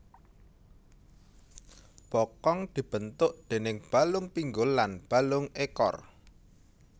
Bokong dibentuk déning balung pinggul lan balung ekor